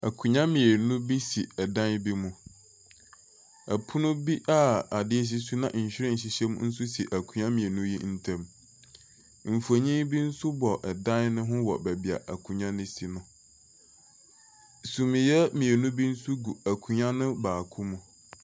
Nkonnwa mmienu bi si dan bi mu, pono bi a adeɛ si so na nyiren hyehyɛ mu nso si nkonnwa mmienu no ntam. Mfonin bi nso bɔ dan mu hɔ wɔ beebi a nkonnwa no si no. Suneɛ mmienu bi nso gu akonnwa baako mu.